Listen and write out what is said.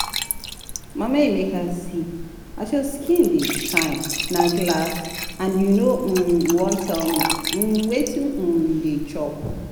Mama Emeka see as your skin dey shine na glass and you no um wan tell me um wetin um you dey chop